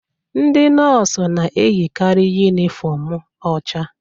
Ndị nọọsụ na-eyikarị yunifọmụ ọcha.